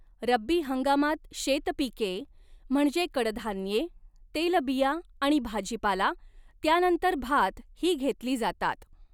रब्बी हंगामात शेतपिके, म्हणजे कडधान्ये, तेलबिया आणि भाजीपाला, त्यानंतर भात, ही घेतली जातात.